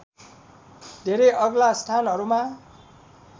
धेरै अग्ला स्थानहरूमा